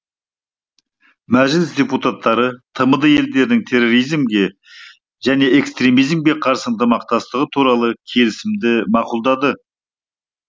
мәжіліс депутаттары тмд елдерінің терроризмге және экстремизмге қарсы ынтымақтастығы туралы келісімді мақұлдады